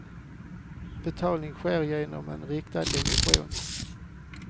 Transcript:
Betalning sker genom en riktad emission.